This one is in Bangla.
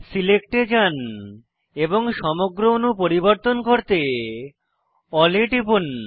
সিলেক্ট এ যান এবং সমগ্র অণু পরিবর্তন করতে এএলএল এ টিপুন